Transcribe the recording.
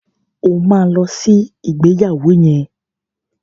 O ma lọ sí ìgbéyàwó yẹn!